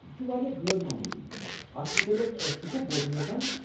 یہِ چھُ واریاہ غٲر معموٗلی، اتھ مُتلق چھُکھہٕ بوزُن یژھان ؟